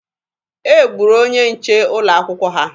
E gburu onye nche ụlọ akwụkwọ ha.